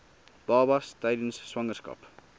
babas tydens swangerskap